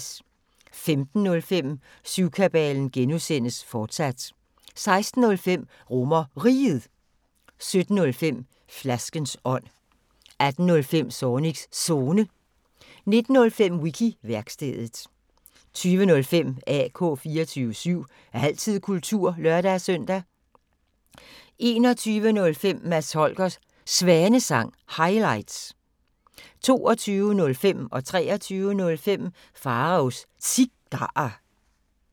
15:05: Syvkabalen (G), fortsat 16:05: RomerRiget 17:05: Flaskens ånd 18:05: Zornigs Zone 19:05: Wiki-værkstedet 20:05: AK 24syv – altid kultur (lør-søn) 21:05: Mads Holgers Svanesang – highlights 22:05: Pharaos Cigarer 23:05: Pharaos Cigarer